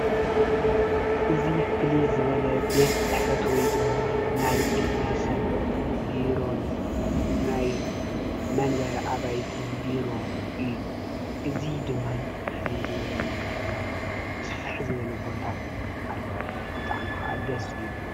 እዚ ፍልይ ዝበለ ቤት ፅሕፈት ወይ ድማ ናይ ግለ ሰብ ቢሮን ናይ መንበሪ ኣባይትን ቢሮ እዩ፡፡ እዚ ድማኒ ብፍልይ ዝበለ መልክዕን ስፍሕ ዝበለ ቦታን ኣለዎ፡፡ ብጣዕሚ ክዓ ደስ ይብል፡፡